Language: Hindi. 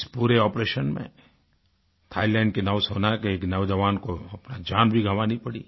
इस पूरे आपरेशन में थाईलैंड की नौसेना के एक जवान को अपनी जान भी गँवानी पड़ी